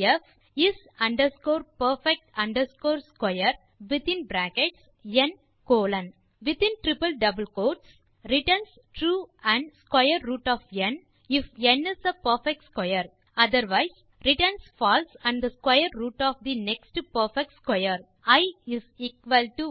def is underscore perfect underscore square within bracket n colon returns true மற்றும் square root of n if n is a perfect square otherwise returns false மற்றும் the square root of the அடுத்து perfect square i 1